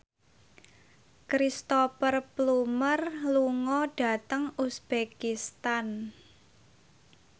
Cristhoper Plumer lunga dhateng uzbekistan